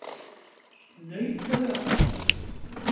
Snautaðu af stað.